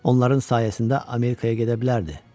Onların sayəsində Amerikaya gedə bilərdi.